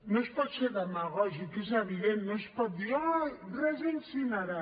no es pot ser demagògic és evident no es pot dir ai res d’incinerar